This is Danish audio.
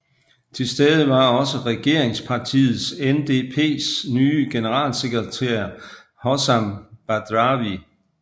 Tilstede var også regeringspartiet NDPs nye generalsekretær Hossam Badrawi